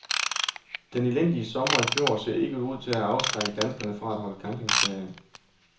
Den elendige sommer i fjor ser ikke ud til at have afskrækket danskerne fra at holde campingferie.